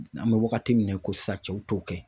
An bɛ wagati min na i ko sisan cɛw t'o kɛ